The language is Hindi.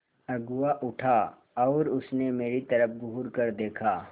अगुआ उठा और उसने मेरी तरफ़ घूरकर देखा